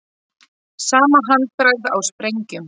Sama handbragð á sprengjum